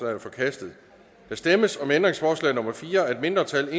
er forkastet der stemmes om ændringsforslag nummer fire af et mindretal